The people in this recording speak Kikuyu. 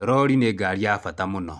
Rori nĩ ngari ya bata mũno.